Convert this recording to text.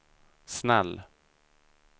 snäll